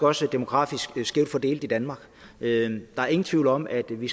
også demografisk skævt fordelt i danmark der er ingen tvivl om at vi